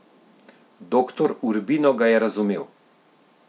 Doktor Urbino ga je razumel.